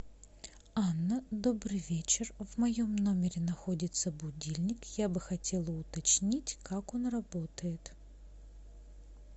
анна добрый вечер в моем номере находится будильник я бы хотела уточнить как он работает